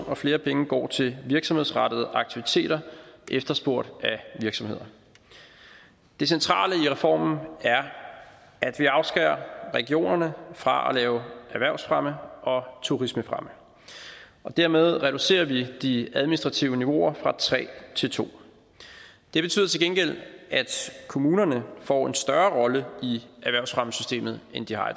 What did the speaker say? og flere penge går til virksomhedsrettede aktiviteter efterspurgt af virksomheder det centrale i reformen er at vi afskærer regionerne fra at lave erhvervsfremme og turismefremme og dermed reducerer vi de administrative niveauer fra tre til to det betyder til gengæld at kommunerne får en større rolle i erhvervsfremmesystemet end de har